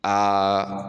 Aa